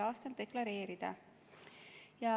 a deklareerida.